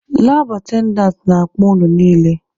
Labụ atendantị na-akpọ unu niile!